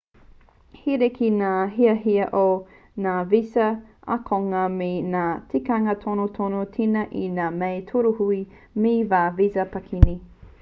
he rerekē ngā hiahia o ngā visa ākonga me ngā tikanga tonotono tēnā i ngā mea tūruhi me ngā visa pākihi